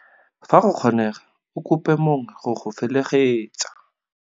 Fa go kgonega, o kope mongwe go go felegetsa.